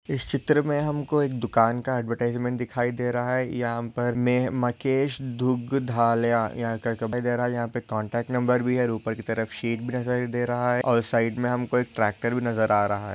इस चित्र मे हमको एक दुकान का ऍडव्हरटाइसमेन्ट दिखाई दे रहा है यहाँ पर मे मकेश दुग्धालया यहाँ का रहा है यहाँ पे कॉन्टॅक्ट नंबर भी है ऊपर की तरफ शीट भी दिखाई दे रहा है और साइड मे हमको एक ट्रैक्टर भी नज़र आ रहा है।